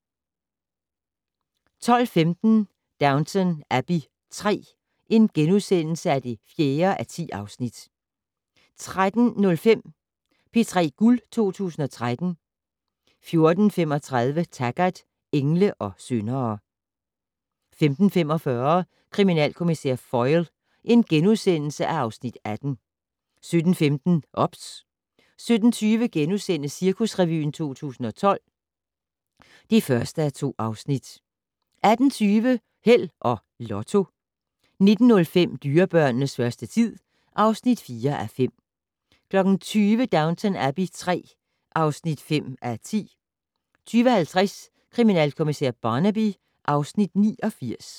12:15: Downton Abbey III (4:10)* 13:05: P3 Guld 2013 14:35: Taggart: Engle og syndere 15:45: Kriminalkommissær Foyle (Afs. 18)* 17:15: OBS 17:20: Cirkusrevyen 2012 (1:2)* 18:20: Held og Lotto 19:05: Dyrebørnenes første tid (4:5) 20:00: Downton Abbey III (5:10) 20:50: Kriminalkommissær Barnaby (Afs. 89)